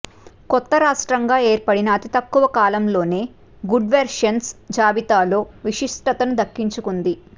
కొత్త రాష్ట్రంగా ఏర్పడిన అతి తక్కువ కాలంలోనే గుడ్గవర్నెన్స్ జాబితాలో విశిష్టతను దక్కించుకుంది